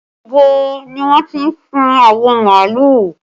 Níbo ni wọ́n ti sun awọ màálù?